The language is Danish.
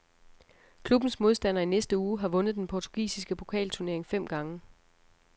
Klubbens modstander i næste uge har vundet den portugisiske pokalturnering fem gange.